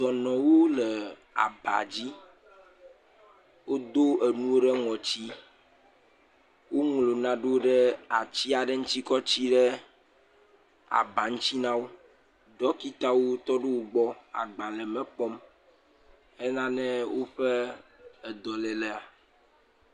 Dɔnɔwo le aba dzi, wodo enuwo ɖe ŋɔti, woŋlɔ nanewo ɖe ati aɖev ŋuti kɔtsi ɖe aba ŋuti na wo, dɔkitawo tɔ ɖe wo gb le agbalẽ me kpɔm hena ne woƒe dɔléea.